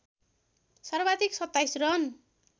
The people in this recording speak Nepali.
सर्वाधिक २७ रन